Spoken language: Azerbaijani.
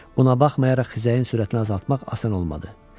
Buna baxmayaraq xizəyin sürətini azaltmaq asan olmadı.